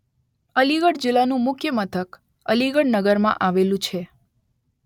અલીગઢ જિલ્લાનું મુખ્ય મથક અલીગઢ નગરમાં આવેલું છે.